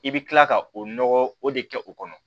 I bɛ kila ka o nɔgɔ o de kɛ o kɔnɔ